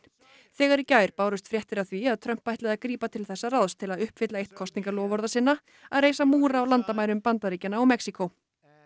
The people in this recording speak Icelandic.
þegar í gær bárust fréttir af því að Trump ætlaði að grípa til þessa ráðs til að uppfylla eitt kosningaloforða sinna að reisa múr á landamærum Bandaríkjanna og Mexíkó